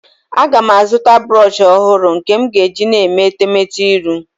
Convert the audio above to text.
Aga m azụta brọshị ọhụrụ nke m ga-eji na-eme etemete iru.